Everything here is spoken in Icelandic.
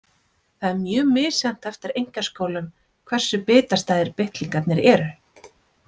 Það er mjög misjafnt eftir einkaskólum hversu bitastæðir bitlingarnir eru.